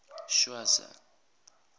schweizer